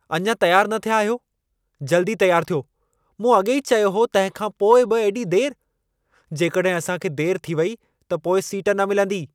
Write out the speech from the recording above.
अञा तियारु न थिया आहियो, जल्दी तियारु थियो। मूं अॻेई चयो हो, तंहिंखां पोइ बि एॾी देरि! जेकॾहिं असां खे देरि थी वई, त पोइ सीट न मिलंदी।